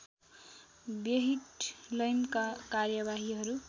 व्यहिटलैमका कार्यवाहीहरू